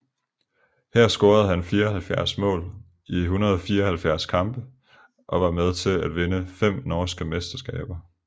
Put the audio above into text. Her scorede han 74 mål i 174 kampe og var med til at vinde fem norske mesterskaber